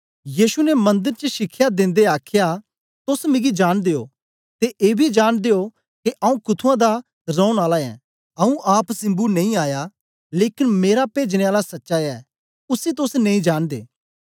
यीशु ने मंदर च शिखया देंदे आख्या तोस मिगी जांनदे ओ ते एबी जांनदे ओ के आऊँ कुथुंआं दा रौन आला ऐं आऊँ आप सिम्बु नेई आया लेकन मेरा पेजने आला सच्चा ऐ उसी तोस नेई जांनदे